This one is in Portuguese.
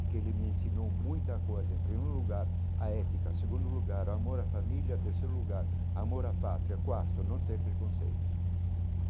Porque ele me ensinou muita coisa, em primeiro lugar, a ética, segundo lugar, a amor a família, terceiro lugar, amor a pátria, quarto, não ter preconceito.